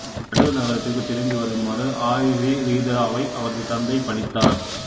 தடு நகரத்திற்கு திரும்பி வருமாறு ஆயுசிறீதராவை அவரது தந்தை பணித்தார்